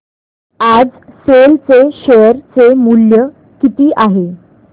आज सेल चे शेअर चे मूल्य किती आहे